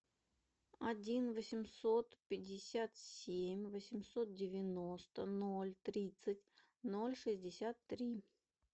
один восемьсот пятьдесят семь восемьсот девяносто ноль тридцать ноль шестьдесят три